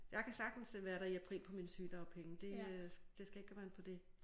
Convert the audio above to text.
Jeg kan sagtens øh være der i april på mine sygedagpenge det øh det skal ikke komme an på det